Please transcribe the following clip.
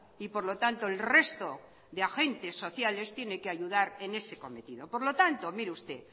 y por lo tanto el resto de agentes sociales tienen que ayudar en ese cometido por lo tanto mire usted